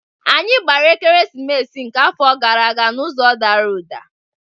Anyị gbara Ekeresimesi nke afọ gara aga n'ụzọ Dara uda.